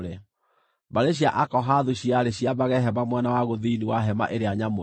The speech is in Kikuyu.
Mbarĩ cia Akohathu ciarĩ ciambage hema mwena wa gũthini wa Hema-ĩrĩa-Nyamũre.